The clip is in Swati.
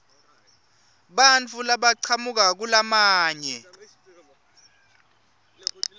bantfu labachamuka kulamanye